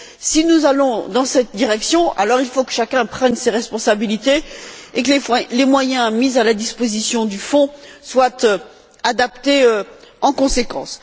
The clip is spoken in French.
Si nous allons dans cette direction, il faut que chacun prenne ses responsabilités, et que les moyens mis à la disposition du Fonds soient adaptés en conséquence.